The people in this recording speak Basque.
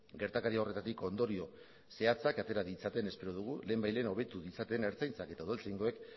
gertakari horretatik ondorio zehatzak atera ditzaten espero dugu lehenbailehen hobetu ditzaten ertzaintzak eta udaltzaingoek